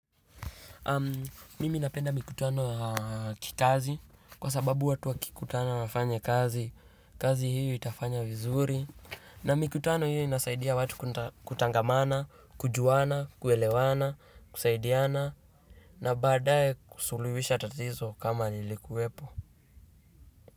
Mimi napenda mikutano ya kikazi kwa sababu watu wakikutana wafanye kazi, kazi hiyo itafanywa vizuri na mikutano hiyo inasaidia watu kutangamana, kujuana, kuelewana, kusaidiana. Na baadaye kusuluhisha tatizo kama lilikuwepo.